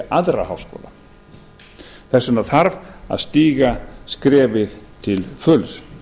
aðra háskóla þess vegna þarf að stíga skrefið til fulls